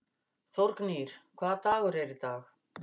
Þórgnýr, hvaða dagur er í dag?